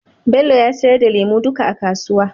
Bello ya sayar da lemu duka a kasuwa.